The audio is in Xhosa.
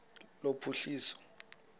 lophuhliso